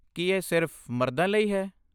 ਕੀ ਇਹ ਸਿਰਫ ਮਰਦਾਂ ਲਈ ਹੈ?